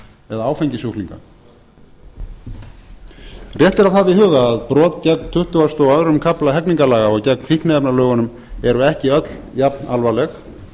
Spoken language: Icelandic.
eða áfengissjúklinga rétt er að hafa í huga að brot gegn tuttugasta og öðrum kafla hegningarlaga og gegn fíkniefnalögunum eru ekki öll jafnalvarleg